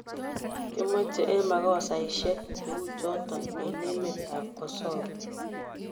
Kimoche en makosaisiek cheu chuton en emet ab Kosova